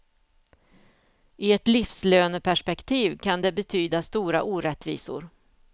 I ett livslöneperspektiv kan det betyda stora orättvisor.